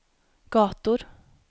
gator